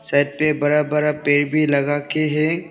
छत पे बड़ा बड़ा पेड़ भी लगा के हैं।